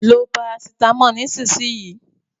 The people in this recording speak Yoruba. Lo parasitámọ̀ náà nísìnyìí.